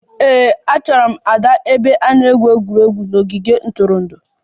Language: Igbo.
Ee, achọrọ m Ada n'ebe a na-egwu egwuregwu n'ogige ntụrụndụ